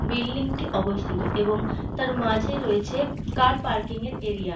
Building টি অবস্থিত এবং তার মাঝে রয়েছে কার পার্কিং এর এরিয়া ।